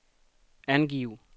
angiv